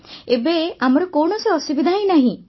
ଏବେ ଆମର କୌଣସି ଅସୁବିଧା ହିଁ ନାହିଁ